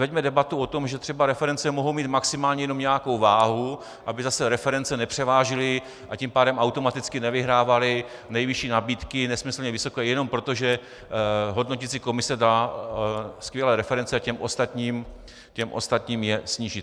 Veďme debatu o tom, že třeba reference mohou mít maximálně jenom nějakou váhu, aby zase reference nepřevážily, a tím pádem automaticky nevyhrávaly nejvyšší nabídky, nesmyslně vysoké, jenom proto, že hodnoticí komise dá skvělé reference a těm ostatním je sníží.